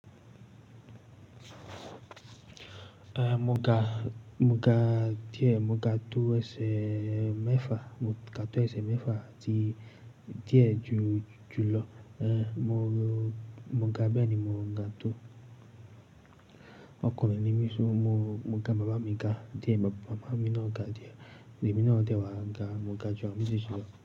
Eh, mo ga, mo ga díẹ̀, mo ga tó ẹsẹ̀ mẹ́fa, mo ga tó ẹsẹ̀ mẹ́fa àti díẹ̀ jù, jù lọ. Eh, mo, mo ga bẹ́ẹ̀ ni mò ga tó. Ọkùnrin ni mí, so, mo, mo ga bàbá mi ga díẹ̀, bàbá, màmá mi náà ga díẹ̀, ẹ̀mí náà dẹ̀ wá ga, mo ga jù àwọn méjèèjì lọ.